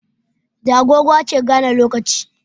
Da agogo ake gane lokaci